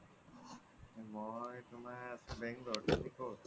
মই আছো তুমাৰ bangalore ত তুমি ক্'ত ?